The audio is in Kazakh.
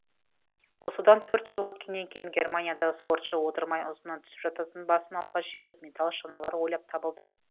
осыдан төрт жыл өткеннен кейін германияда спортшы отырмай ұзыннан түсіп жататын басын алға жіберіп металл шаналар ойлап табылды